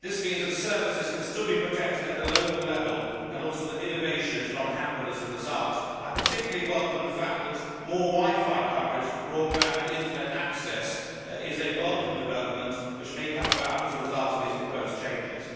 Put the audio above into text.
This means that services can still be protected at a local level and also that innovation is not hampered as a result. I particularly welcome the fact that more wi fi coverage for broadband internet access is a development that may come about as a result of these proposed changes.